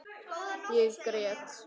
Ég grét.